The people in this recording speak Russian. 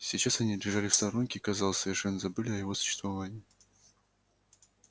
сейчас они лежали в сторонке и казалось совершенно забыли о его существовании